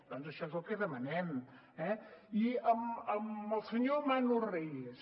doncs això és el que demanem eh i al senyor manu reyes